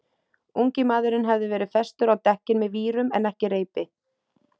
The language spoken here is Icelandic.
Ungi maðurinn hafði verið festur á dekkin með vírum en ekki reipi.